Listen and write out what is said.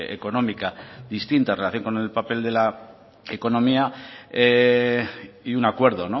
económica distinta en relación con el papel de la economía y un acuerdo